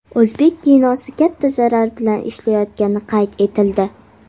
O‘zbek kinosi katta zarar bilan ishlayotgani qayd etildi.